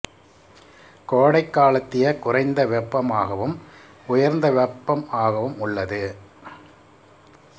கோடக் காலத்திய குறைந்த வெப்பம் ஆகவும் உயர்ந்த வெப்பம் ஆகவும் உள்ளது